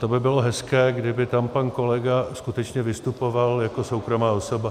To by bylo hezké, kdyby tam pan kolega skutečně vystupoval jako soukromá osoba.